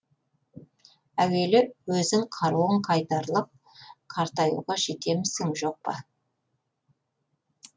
әуелі өзің қаруың қайтарлық қартаюға жетемісің жоқ па